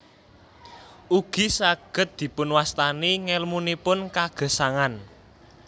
Ugi saged dipunwastani ngèlmunipun kagesangan